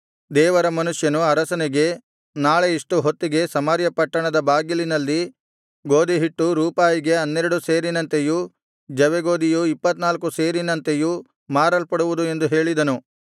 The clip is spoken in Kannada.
ದೇವರ ಮನುಷ್ಯನು ಅರಸನಿಗೆ ನಾಳೆ ಇಷ್ಟು ಹೊತ್ತಿಗೆ ಸಮಾರ್ಯ ಪಟ್ಟಣದ ಬಾಗಿಲಿನಲ್ಲಿ ಗೋದಿಹಿಟ್ಟು ರೂಪಾಯಿಗೆ ಹನ್ನೆರಡು ಸೇರಿನಂತೆಯೂ ಜವೆಗೋದಿಯು ಇಪ್ಪತ್ತನಾಲ್ಕು ಸೇರಿನಂತೆಯೂ ಮಾರಲ್ಪಡುವವು ಎಂದು ಹೇಳಿದನು